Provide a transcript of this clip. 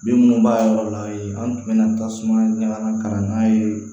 Bin minnu b'a yɔrɔ la an tun bɛ na tasuma ɲaman kan n'a ye